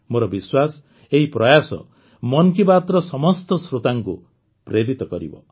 ମୋର ବିଶ୍ୱାସ ଏହି ପ୍ରୟାସ ମନ୍ କି ବାତ୍ର ସମସ୍ତ ଶ୍ରୋତାଙ୍କୁ ପ୍ରେରିତ କରିବ